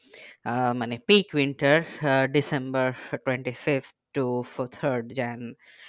আহ মানে pick winter ah december twenty fifth to third jan